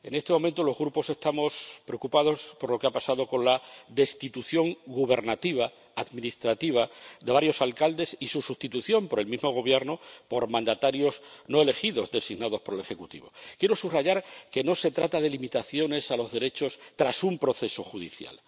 En este momento, los grupos estamos preocupados por lo que ha pasado con la destitución gubernativa administrativa de varios alcaldes y su sustitución por el mismo Gobierno, por mandatarios no elegidos designados por el Ejecutivo. Quiero subrayar que no se trata de limitaciones de los derechos tras un proceso judicial.